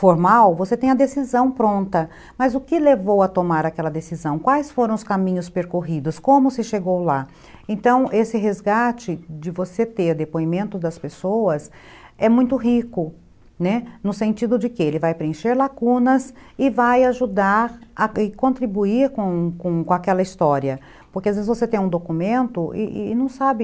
formal, você tem a decisão pronta, mas o que levou a tomar aquela decisão? quais foram os caminhos percorridos? como se chegou lá? Então esse resgate de você ter depoimento das pessoas, é muito rico, né, no sentido de que ele vai preencher lacunas e vai ajudar a contribuir com com aquela história, porque às vezes você tem um documento e não sabe